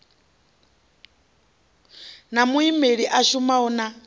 na muimeli a shumanaho na